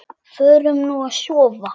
Förum nú að sofa.